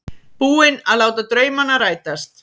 Búinn að láta draumana rætast.